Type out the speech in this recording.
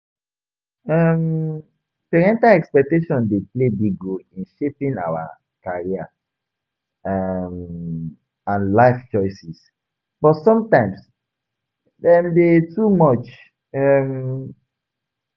um Parental expectations dey play big role in shaping our career um and life choices, but sometimes dem dey too much. um